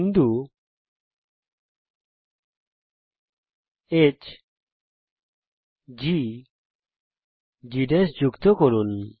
বিন্দু hgজি কে যুক্ত করুন